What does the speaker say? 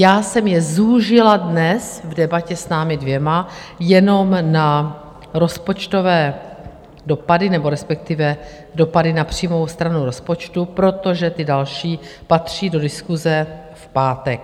Já jsem je zúžila dnes v debatě s námi dvěma jenom na rozpočtové dopady nebo respektive dopady na příjmovou stranu rozpočtu, protože ty další patří do diskuse v pátek.